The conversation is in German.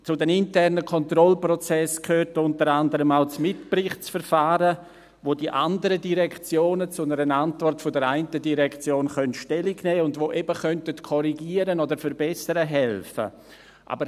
Zu den internen Kontrollprozessen gehört unter anderem auch das Mitberichtsverfahren, bei dem die anderen Direktionen zu einer Antwort der einen Direktion Stellung nehmen können und die eben korrigieren oder verbessern helfen könnten.